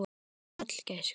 Sæll gæskur.